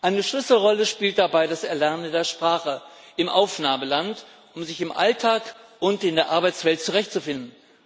Eine Schlüsselrolle spielt dabei das Erlernen der Sprache im Aufnahmeland, um sich im Alltag und in der Arbeitswelt zurechtzufinden.